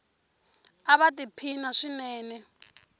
ava ti phina swinene